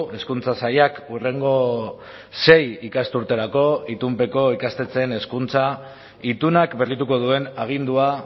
hezkuntza sailak hurrengo sei ikasturterako itunpeko ikastetxeen hezkuntza itunak berrituko duen agindua